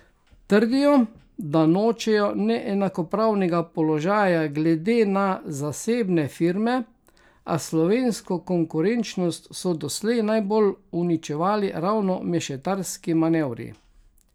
Trdijo, da nočejo neenakopravnega položaja glede na zasebne firme, a slovensko konkurenčnost so doslej najbolj uničevali ravno mešetarski manevri.